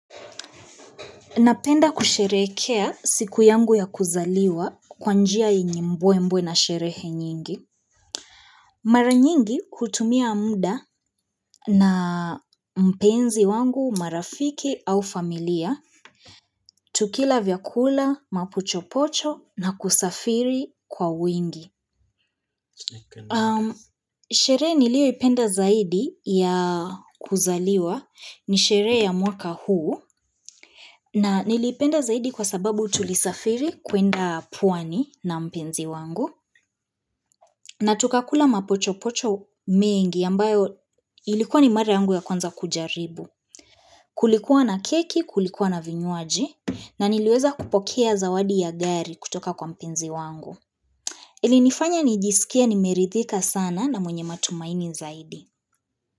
Napenda kusherekea siku yangu ya kuzaliwa kwa njia yenye mbwe mbwe na sherehe nyingi. Mara nyingi kutumia muda na mpenzi wangu, marafiki au familia, tukila vyakula, mapochopocho na kusafiri kwa wingi. Sherehe nilio ipenda zaidi ya kuzaliwa ni sherehe ya mwaka huu na nilipenda zaidi kwa sababu tulisafiri kuenda pwani na mpenzi wangu na tukakula mapochopocho mengi ambayo ilikuwa ni mare yangu ya kwanza kujaribu Kulikuwa na keki, kulikuwa na vinywaji na niliweza kupokea zawadi ya gari kutoka kwa mpenzi wangu ili nifanya nijisikia nimeridhika sana na mwenye matumaini zaidi.